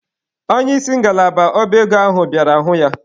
Onye isi ngalaba ọba ego ahụ bịara hụ ya.